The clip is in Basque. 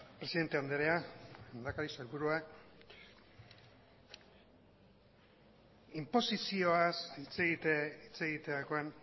presidente andrea lehendakari sailburua inposizioaz hitz egiterakoan